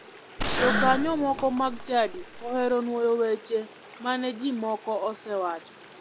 Jokanyo moko mag chadi ohero nuoyo wacho weche mane ji moko osewacho.